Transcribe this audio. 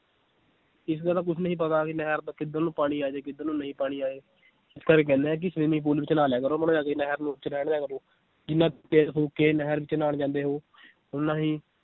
ਇਸ ਗੱਲ ਦਾ ਕੁਛ ਨਹੀਂ ਪਤਾ ਵੀ ਨਹਿਰ ਦਾ ਕਿੱਧਰ ਨੂੰ ਪਾਣੀ ਆ ਜਾਏ ਕਿੱਧਰ ਨੂੰ ਨਹੀਂ ਪਾਣੀ ਆਏ ਇਸ ਕਰਕੇ ਕਹਿੰਨੇ ਆ ਕਿ swimming pool ਵਿੱਚ ਨਹਾ ਲਿਆ ਕਰੋ ਨਹਿਰ ਨੁਹਰ ਚ ਰਹਿਣ ਦਿਆ ਕਰੋ ਜਿਨਾਂ ਤੇਲ ਫੂਕ ਕੇ ਨਹਿਰ ਵਿਚ ਨਹਾਉਣ ਜਾਂਦੇ ਹੋ ਓਨਾ ਹੀ